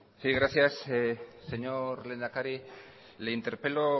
sí gracias señor lehendakari le interpelo